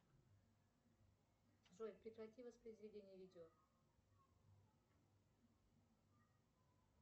джой прекрати воспроизведение видео